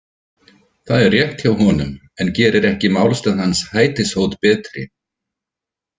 Það er rétt hjá honum, en gerir ekki málstað hans hætishót betri.